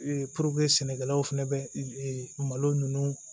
puruke sɛnɛkɛlaw fɛnɛ be e malo nunnu